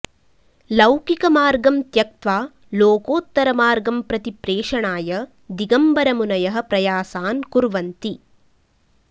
लौकिकमार्गं त्यक्त्वा लोकोत्तरमार्गं प्रति प्रेषणाय दिगम्बरमुनयः प्रयासान् कुर्वन्ति